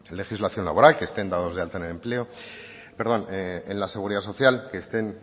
legislación laboral que estén dados de alta en la seguridad social que estén